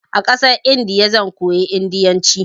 A ƙasar Indiya zan koyi indiyanci.